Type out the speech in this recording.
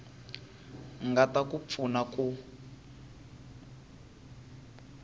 nga ta ku pfuna ku